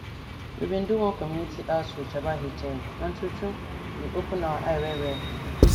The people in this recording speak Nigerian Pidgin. we bin do one community outreach about hiv and truetrue e open our eye well well